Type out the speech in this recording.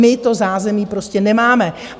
My to zázemí prostě nemáme.